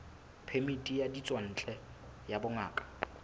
phemiti ya ditswantle ya bongaka